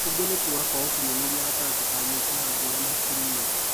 ũngĩ nĩ kũra gwa ũkinyanĩria gatagatĩ ga mĩkiha ngũrani hakiri-inĩ